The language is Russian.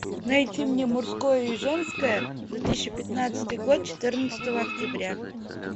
найди мне мужское и женское две тысячи пятнадцатый год четырнадцатого октября